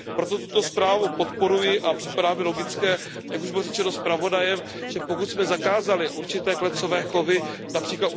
Proto tuto zprávu podporuji a připadá mi logické, jak už bylo řečeno zpravodajem, že pokud jsme zakázali určité klecové chovy, např.